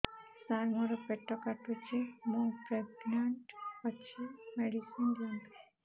ସାର ମୋର ପେଟ କାଟୁଚି ମୁ ପ୍ରେଗନାଂଟ ଅଛି ମେଡିସିନ ଦିଅନ୍ତୁ